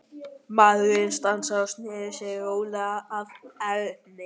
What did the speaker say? Maðurinn stansaði og sneri sér rólega að Erni.